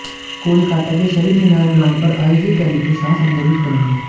कोलकाता के शहीद मीनार ग्राउंड पर आयोजित रैली को शाह संबोधित करेंगे